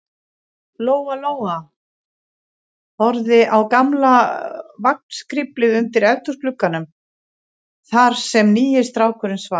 Lóa-Lóa horfði á gamla vagnskriflið undir eldhúsglugganum, þar sem nýi strákurinn svaf.